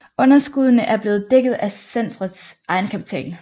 Underskuddene er blevet dækket af centrets egenkapital